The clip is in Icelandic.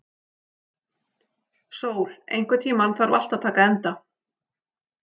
Sól, einhvern tímann þarf allt að taka enda.